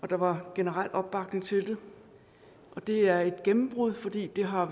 der var generel opbakning til og det er et gennembrud fordi der har